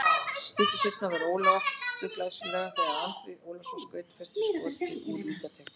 Stuttu seinna varði Ólafur aftur glæsilega þegar Andri Ólafsson skaut föstu skoti úr vítateig.